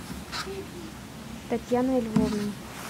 татьяной львовной